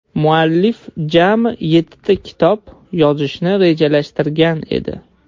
Muallif jami yettita kitob yozishni rejalashtirgan edi.